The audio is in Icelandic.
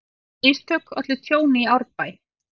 Mistök ollu tjóni í Árbæ